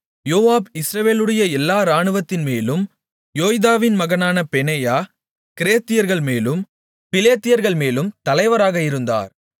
யோவாப் இஸ்ரவேலுடைய எல்லா இராணுவத்தின்மேலும் யோய்தாவின் மகனான பெனாயா கிரேத்தியர்கள்மேலும் பிலேத்தியர்கள்மேலும் தலைவராக இருந்தார்கள்